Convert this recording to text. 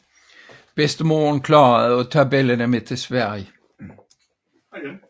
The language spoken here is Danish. Bedstemoren formåede at tage børnene med til Sverige